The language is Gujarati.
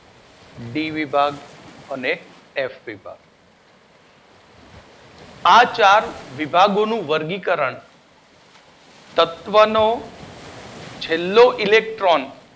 ડી વિભાગ અને એફ વિભાગ આ ચાર વિભાગોનું વર્ગીકરણ તત્વોનો છેલ્લો ઇલેક્ટ્રોન